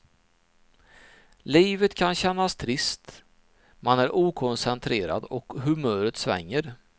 Livet kan känns trist, man är okoncentrerad och humöret svänger.